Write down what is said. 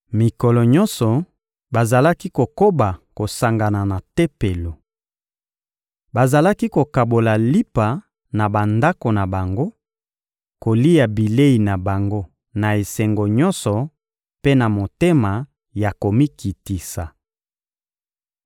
Mikolo nyonso bazalaki kokoba kosangana na Tempelo. Bazalaki kokabola lipa na bandako na bango, kolia bilei na bango na esengo nyonso mpe na motema ya komikitisa.